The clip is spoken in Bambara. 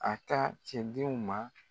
A taa tiɲɛdenw ma